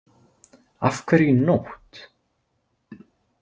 Af hverju í nótt?